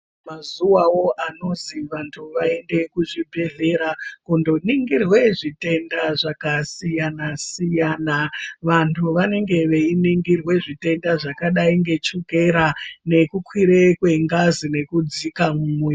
Mazuwawo anozi vantu vaende kuzvibhehlera kundoningirwe zvitenda zvakasiyanasiyana vantu vanenge veingirwe zvitenda zvakadai ngechokera nekukwire kwengazi nekudzaka mumwiri.